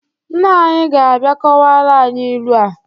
Nna anyị ga-abịa kọwara anyị ilu a